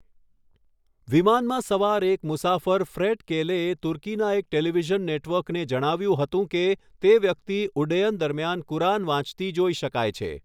વિમાનમાં સવાર એક મુસાફર ફ્રેટ કેલેએ તુર્કીના એક ટેલિવિઝન નેટવર્કને જણાવ્યું હતું કે તે વ્યક્તિ ઉડ્ડયન દરમિયાન કુરાન વાંચતી જોઈ શકાય છે.